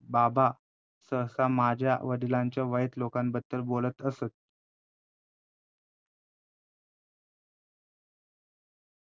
बाबा सहसा माझ्या वडिलांच्या वयस्क लोकांबद्दल बोलत असत.